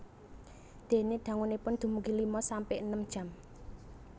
Dene dangunipun dumugi lima sampe enem jam